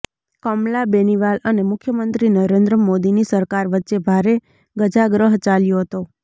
કમલા બેનિવાલ અને મુખ્યમંત્રી નરેન્દ્ર મોદીની સરકાર વચ્ચે ભારે ગજાગ્રહ ચાલ્યો હતો